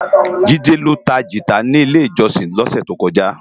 Jide ló tá gitá ni ilé-ijòsin lòsè tókòjá